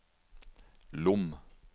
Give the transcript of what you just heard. Lom